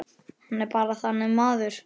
Hann er bara þannig maður.